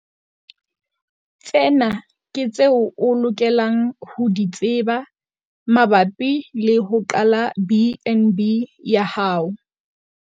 Tsena ke tseo o lokelang ho di tseba mabapi le ho qala BnB ya hao.